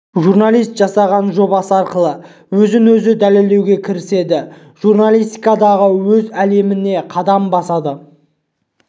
журналист жасаған жобасы арқылы өзін-өзі дәлелдеуге кіріседі журналистикадағы өз әлеміне қадам басады